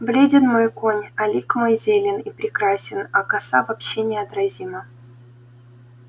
бледен мой конь а лик мой зелен и прекрасен а коса вообще неотразима